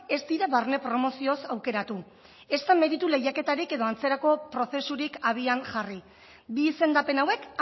ez dira barne promozioz aukeratu ezta meritu lehiaketarik edo antzerako prozesurik abian jarri bi izendapen hauek